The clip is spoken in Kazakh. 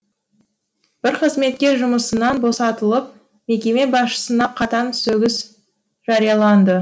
бір қызметкер жұмысынан босатылып мекеме басшысына қатаң сөгіс жарияланды